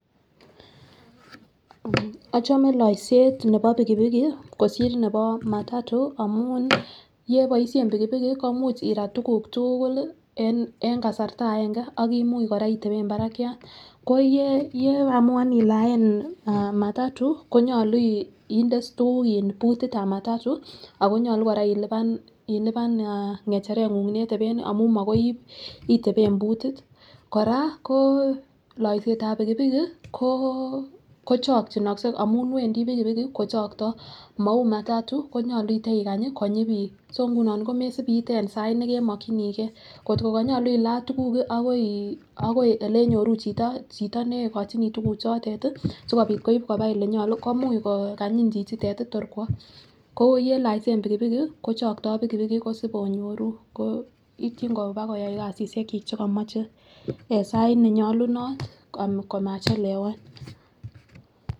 Ochome loiset nebo pikipiki kosir nebo matatu amun yeboishen pikipiki komuch irat tukuk tuukul lii en kasarta aenge oh imuch koraa otepen barakiat ko yeamuan ialen matatu konyolu inde iss tukuk butit tab matatu ako nyolu Koraa iliipan ngecheret ngung neteben amun makoi otepen butit. Koraa ko loisetab pikipiki ko kochokinokse amun wendii piikipiki kochokto mou matatu konyolu itekanyi konyi bik so nguno komesibite en sait nekemokinii gee. Kotko konyolu ilaa tukuk akoi elenyoru chito, chit nekochinii tukuk chotet tii sikopit koib koba olenyolu komuch ko kanyin chichitet yii6 tor kwo ko yeloisen pikipiki ko chokto pikipiki ko sib inyoru ko ityin koba koyai kasishek chik chekomoche en sait nenyolunot komachelewa .